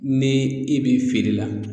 Ni e bi feere la